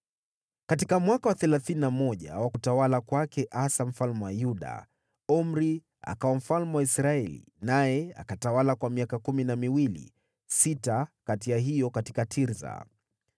Katika mwaka wa thelathini na moja wa utawala wa Asa mfalme wa Yuda, Omri akawa mfalme wa Israeli, naye akatawala kwa miaka kumi na miwili, sita kati ya hiyo katika Tirsa.